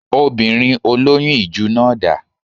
Obìnrin olóyún ìju náà dà?